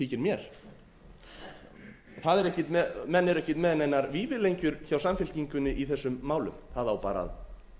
þykir mér menn eru ekkert með neinar vífilengjur hjá samfylkingunni í þessum málum það á bara að